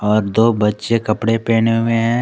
और दो बच्चे कपड़े पहने हुए हैं।